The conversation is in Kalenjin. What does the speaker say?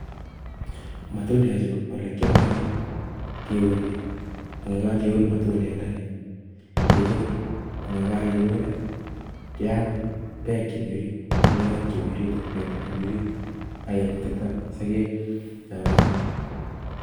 matundekchu koelekiomdoo kiuni, koyekokiun kirur ak yekakirur keam beek chemi orit ak bendo nemi oriit, ak kengututaa sogeek.